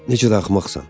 Necə də axmaqsan!